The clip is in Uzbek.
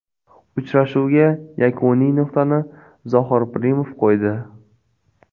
Uchrashuvga yakuniy nuqtani Zohir Pirimov qo‘ydi.